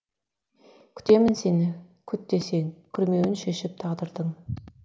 күтемін сені күт десең күрмеуін шешіп тағдырдың